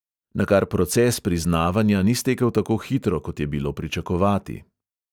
Nakar proces priznavanja ni stekel tako hitro, kot je bilo pričakovati.